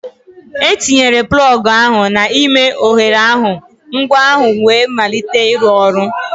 Etinyere plọg ahụ n'ime oghere ahụ, ngwa ahụ wee malite ịrụ ọrụ.